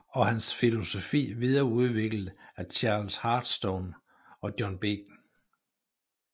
Og hans filosofi videreudviklet af Charles Hartstorne og John B